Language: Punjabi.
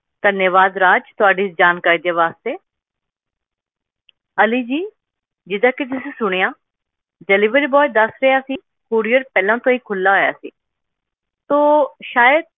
ਧੰਨਵਾਦ ਰਾਜ ਤੁਹਾਡੀ ਇਸ ਜਾਣਕਾਰੀ ਦੇ ਵਾਸਤੇ ਅਲੀ ਜੀ ਜਿੱਦਾਂ ਕਿ ਤੁਸੀਂ ਸੁਣਿਆ delivery boy ਦੱਸ ਰਿਹਾ ਸੀ courier ਪਹਿਲਾਂ ਤੋਂ ਹੀ ਖੁੱਲਾ ਆਇਆ ਸੀ ਤਾਂ ਸ਼ਾਇਦ